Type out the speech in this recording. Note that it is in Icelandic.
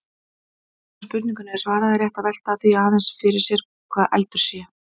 Áður en spurningunni er svarað er rétt að velta því aðeins sér hvað eldur sé.